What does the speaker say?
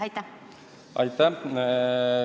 Aitäh!